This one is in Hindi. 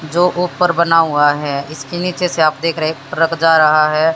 जो ऊपर बना हुआ है इसके नीचे से आप देख रहे हैं ट्रक जा रहा है।